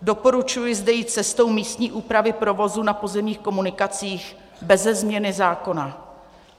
Doporučuji zde jít cestou místní úpravy provozu na pozemních komunikacích beze změny zákona.